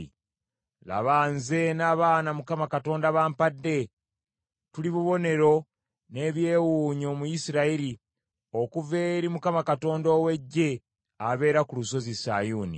Laba, nze n’abaana Mukama Katonda bampadde tuli bubonero n’ebyewuunyo mu Isirayiri obuva eri Mukama Katonda ow’Eggye, abeera ku lusozi Sayuuni.